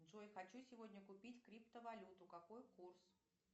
джой хочу сегодня купить криптовалюту какой курс